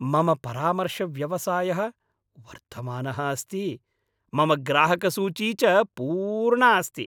मम परामर्शव्यवसायः वर्धमानः अस्ति, मम ग्राहकसूची च पूर्णा अस्ति।